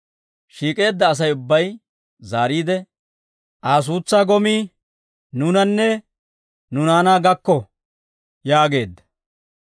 Shiik'eedda Asay ubbay zaariide, «Aa suutsaa gomii nuunanne nu naanaa gakko» yaageedda.